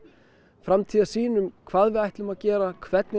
framtíðarsýn um hvað við ætlum að gera hvernig